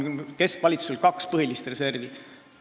Keskvalitsusel on kaks põhilist reservi.